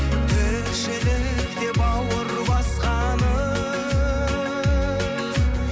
тіршілік деп бауыр басқаным